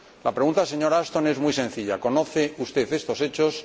La pregunta, señora Ashton, es muy sencilla ¿conoce usted estos hechos?